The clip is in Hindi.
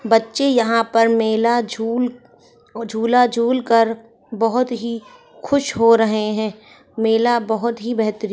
बच्चे यहाँ पर मेला झूल झूला झूल कर बहुत ही खुश हो रहे है मेला बहुत ही बेहतरीन --